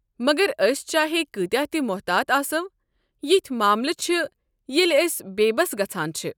مگر أسۍ چاہے کۭتیٛاہ تہ محتات آسو، یتھ معاملہٕ چھ ییٚلہ أسۍ بےبس گژھان چھ۔